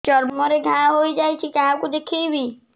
ଚର୍ମ ରେ ଘା ହୋଇଯାଇଛି କାହାକୁ ଦେଖେଇବି